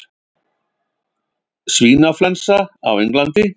Svínaflensa á Englandi